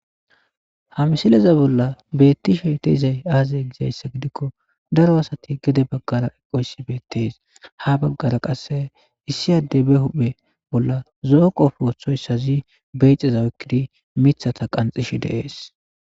Ha misileza bolla beetti shete izay aazay gizayssa gidikko daro asati gede baggara eqoyssi beettees ha baggara qasse issi adde be huphe bolla zooqofwothoyssazi beyxeza okkidi mithata qanxish deees